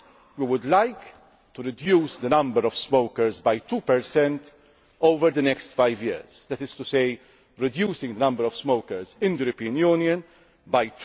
We would like to reduce the number of smokers by 2 over the next five years, that is to say reduce the number of smokers in the European Union by